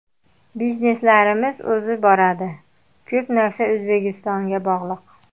Bizneslarimiz o‘zi boradi… Ko‘p narsa O‘zbekistonga bog‘liq.